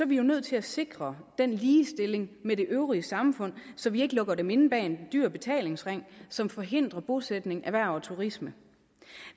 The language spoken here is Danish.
vi jo nødt til at sikre den ligestilling med det øvrige samfund så vi ikke lukker dem inde bag en dyr betalingsring som forhindrer bosætning erhverv og turisme